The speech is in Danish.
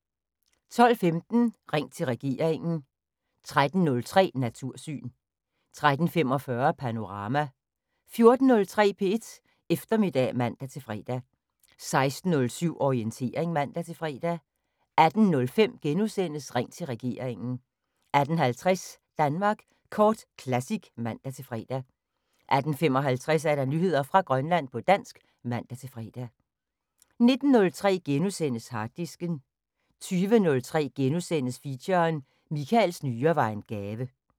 12:15: Ring til regeringen 13:03: Natursyn 13:45: Panorama 14:03: P1 Eftermiddag (man-fre) 16:07: Orientering (man-fre) 18:05: Ring til regeringen * 18:50: Danmark Kort Classic (man-fre) 18:55: Nyheder fra Grønland på dansk (man-fre) 19:03: Harddisken * 20:03: Feature: Michaels nyre var en gave *